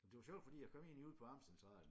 Det var sjovt fordi jeg kom egentlig ud på Amtscentralen